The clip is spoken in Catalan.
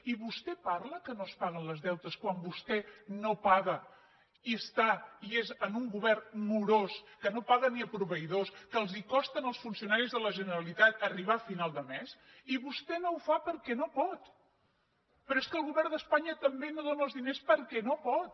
i vostè parla que no es paguen els deutes quan vostè no paga i és un govern morós que no paga ni a proveïdors que els costa als funcionaris de la generalitat arribar a final de mes i vostè no ho fa perquè no pot però és que el govern d’espanya tampoc no dóna els diners perquè no pot